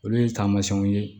Olu ye taamasiyɛnw ye